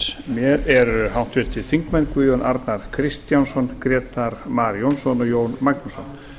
mér eru háttvirtir þingmenn guðjón arnar kristjánsson grétar mar jónsson og jón magnússon